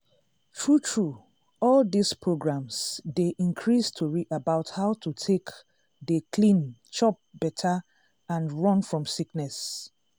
true true all dis programs dey increase tori about how to take dey clean chop better and run from sickness.